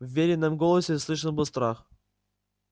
в верином голосе слышен был страх